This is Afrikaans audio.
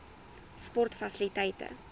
sportfasiliteite